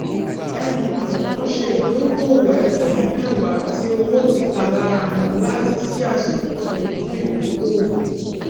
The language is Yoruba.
ẹni kọọkan ṣe ìdókòwò ẹgbèrún méwàá tí owó tíkalárawon láti sì àṣùwòn tuntun fún ìdókòwò